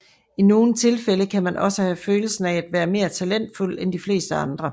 I nogle tilfælde kan man også have følelsen af at være mere talentfuld end de fleste andre